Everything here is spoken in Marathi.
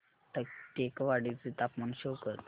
टेकवाडे चे तापमान शो कर